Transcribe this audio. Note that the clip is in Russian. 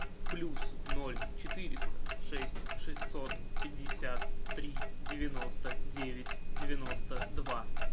плюс ноль четыреста шесть шестьсот пятьдесят три девяносто девять девяносто два